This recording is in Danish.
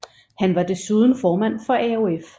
Han var desuden formand for AOF